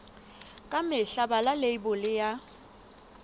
ka mehla bala leibole ya